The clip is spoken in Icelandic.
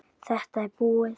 Þetta er búið!